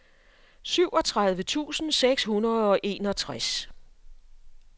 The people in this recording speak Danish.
syvogtredive tusind seks hundrede og enogtres